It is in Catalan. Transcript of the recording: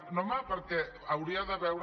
no home perquè hauria de veure